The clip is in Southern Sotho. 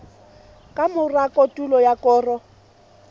ka mora kotulo ya koro